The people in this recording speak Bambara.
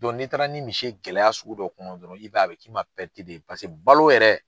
Don n'i taara ni misi ye gɛlɛya sugu dɔ kɔnɔ dɔrɔn i b'a ye a be k'i ma de ye pase balo yɛrɛ